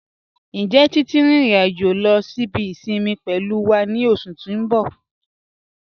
Njẹ́ Titi n rin irin-ajo lọ sí ibi isinmi pẹ̀lú wa ni oṣù ti n bọ̀?